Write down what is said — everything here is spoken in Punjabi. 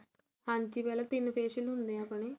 ਹਾਂਜੀ ਪਹਿਲਾਂ ਤਿੰਨ facial ਹੁੰਦੇ ਏ ਆਪਣੇ